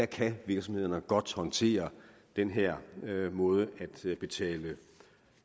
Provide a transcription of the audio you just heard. kan virksomhederne godt håndtere den her måde at betale